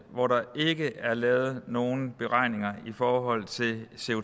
hvor der ikke er lavet nogen beregninger i forhold til